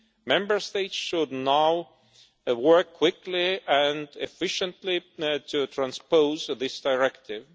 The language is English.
Member States should now work quickly and efficiently to transpose this directive.